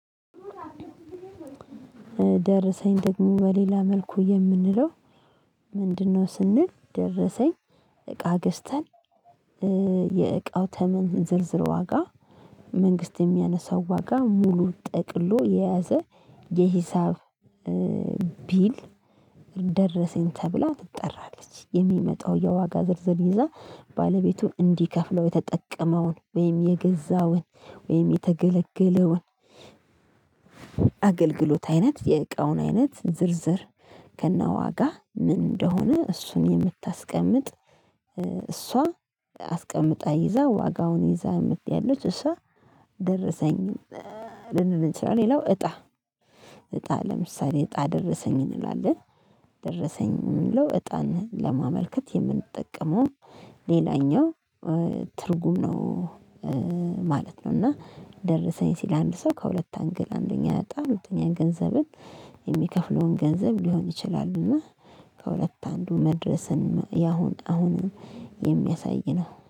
ደረሰኝ ደግሞ በሌላ መልኩ የምንለው ምንድነው? ስንል ደረሰኝ እቃ ገዝተን የእቃው ተመን ዝርዝር ዋጋ መንግስት የሚያነሳው ዋጋ ሙሉ ጠቅሎ የያዘ የሂሳብ ቢል ደረሰኝ ተብላ ትጠራለች የሚመጣው የዋጋ ዝርዝር ይዛ ባለቤቱን እንዲከፍለው የተጠቀመውን ወይም የገዛውን ወይም የተገለገለውን አገልግሎት አይነት የእቃውን አይነት ዝርዝር ከነዋጋ ምን እንደሆነ እሱን የምታስቀምጥ እሷ አስቀምጣ ይዛ ዋጋውን ይዛ ምት ያለች እሷ ደረሰኝ ልንል እንችላለን። ሌላው እጣ እጣ ለምሳሌ እጣ ደረሰኝ እንላለን ደረሰኝ የምንለው እጣን ለማመልከት የምንጠቀመው ሌላኛው ትርጉም ነው። ማለት ነው እና ደረሰኝ ሲል አንድ ሰው ከሁለት አንገል አንደኛ እጣ ሁለተኛ ገንዘብን የሚከፍለውን ገንዘብ ሊሆን ይችላል። እና ከሁለት አንዱ መድረስን ያሁን አሁንም የሚያሳይ ነው